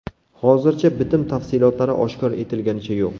Hozircha bitim tafsilotlari oshkor etilganicha yo‘q.